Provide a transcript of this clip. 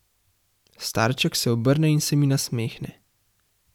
Starček se obrne in se mi nasmehne.